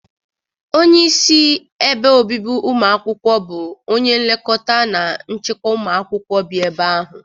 Onye isi ebe obibi ụmụ akwụkwọ bụ onye nlekọta na nchịkwa ụmụ akwụkwọ bi ebe ahụ.